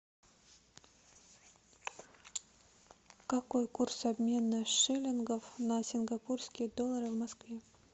какой курс обмена шиллингов на сингапурские доллары в москве